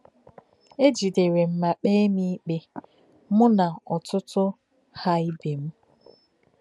É jìderè m ma kpee m ikpe, mụ́ na òtùtù Ha íbé m.